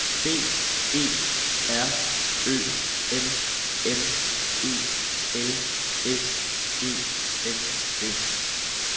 B E R Ø M M E L S E N S